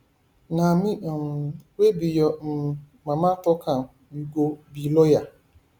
um na me um wey be your um mama talk am you go be lawyer